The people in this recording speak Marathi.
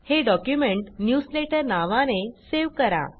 हे डॉक्युमेंट न्यूजलेटर नावाने सेव्ह करा